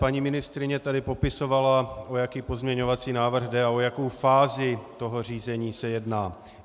Paní ministryně tady popisovala, o jaký pozměňovací návrh jde a o jakou fázi toho řízení se jedná.